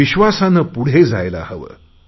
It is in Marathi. विश्वासाने पुढे जायला हवे